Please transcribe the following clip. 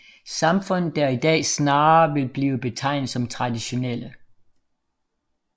Samfund der i dag snarere vil blive betegnet som traditionelle